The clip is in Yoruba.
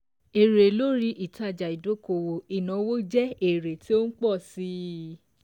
Èrè lórí ìtájà ìdókòwò ìnáwó jẹ èrè tí ó ń pọ̀ sí i.